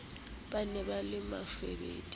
ba ne ba le bafubedi